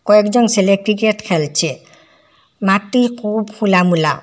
কয়েকজন ছেলে ক্রিকেট খেলছে মাঠটি খুব খোলা মোলা।